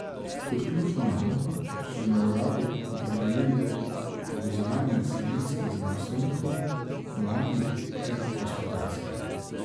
Kot ključno nalogo so na uradu opredelili povezovanje slovenskih znanstvenikov, mladih ter gospodarstva.